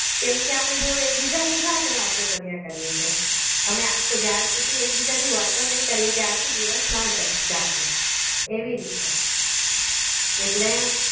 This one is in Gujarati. કેમ કે અમે એકબીજાની જાતે વાતો કર્યા કરીએ છીએ અમે આખો જાર સુધી એકબીજાથી વાતો નહીં કરીએ ત્યારથી દિવસના જાગે એવી રીતનું એટલે